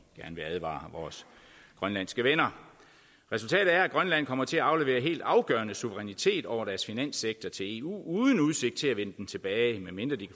gerne vil advare vores grønlandske venner resultatet er at de i grønland kommer til at aflevere helt afgørende suverænitet over deres finanssektor til eu uden udsigt til at vinde den tilbage medmindre de